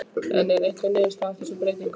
En hver var niðurstaðan af þessum breytingum?